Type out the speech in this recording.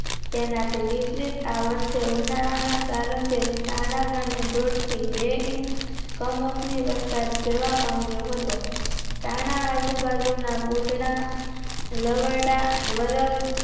એનાથી વિપરીત આ વર્ષે ઉનાળાના પ્રારંભે તાણા ગામે દોઢ થી બે ઇંચ કમોસમી વરસાદ જોવા મળ્યો હતો તાણા આજુ બાજુ ના બુદ્ધના લવયક વર્વ